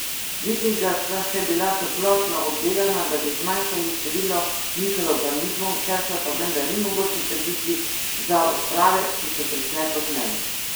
Vikinga sta še bila toplotno obdelana, da bi zmanjšali število mikroorganizmov, česar pa menda ni mogoče trditi za odprave, ki so prišle pozneje.